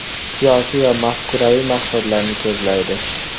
Siyosiy va mafkuraviy maqsadlarni ko‘zlaydi.